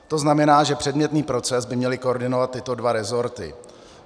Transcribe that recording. To znamená, že předmětný proces by měly koordinovat tyto dva rezorty.